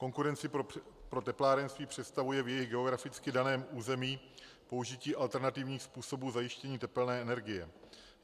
Konkurenci pro teplárenství představuje v jejich geograficky daném území použití alternativních způsobů zajištění tepelné energie.